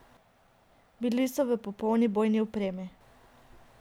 Bili so v popolni bojni opremi.